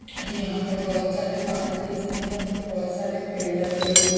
यहाँ पर बहुत सारे पहाड़ दिख रहे हैं उनपे बहुत सारे पेड़ लगे हुए--